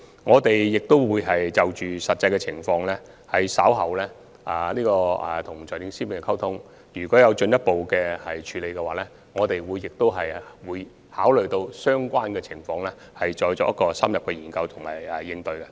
我們稍後會與財政司司長就實際情況進行溝通，如果有進一步的處理方案，我們會一併考慮相關的情況，然後再作出深入的研究和應對。